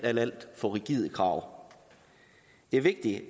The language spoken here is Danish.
alt alt for rigide krav det er vigtigt